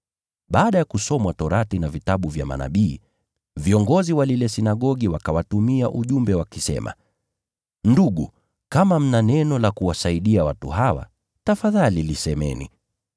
Baada ya Sheria ya Mose na Kitabu cha Manabii kusomwa, viongozi wa sinagogi wakawatumia ujumbe wakisema, “Ndugu, kama mna neno la kuwafariji watu hawa, tafadhali lisemeni.”